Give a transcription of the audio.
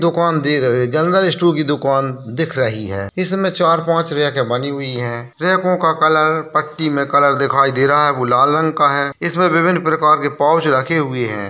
दुकान दिख रही है जनरल स्टोर की दुकान दिख रही है इसमें चार पांच रेक बनी हुई है रेको का कलर पट्टी में कलर दिखाई दे रहा है वो लाल रंग का है इसमें विभिन्न प्रकार के पाउच रखे हुए है।